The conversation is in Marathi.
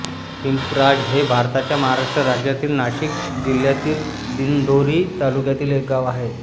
पिंपराज हे भारताच्या महाराष्ट्र राज्यातील नाशिक जिल्ह्यातील दिंडोरी तालुक्यातील एक गाव आहे